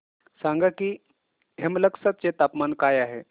सांगा की हेमलकसा चे तापमान काय आहे